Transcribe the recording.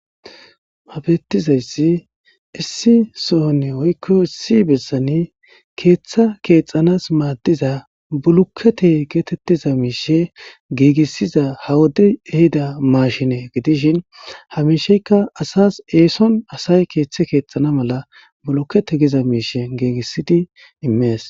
habeettizayssi issi sohone woykko issi bessani keeththa keexxanas maaddiza bulukete geetettiza miishe giigissiza ha wode ehida maashine gidishin hamisheykka asas eeson asay keeththe keexxana mala bulukkete giza miishe giigissidi immees